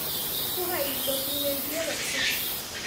Ku hay dukumentiyada cusub.